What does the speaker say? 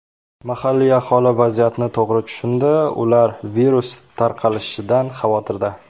Mahalliy aholi vaziyatni to‘g‘ri tushundi, ular virus tarqalishidan xavotirda.